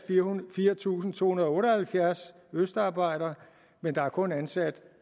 fire tusind to hundrede og otte og halvfjerds østarbejdere men der er kun ansat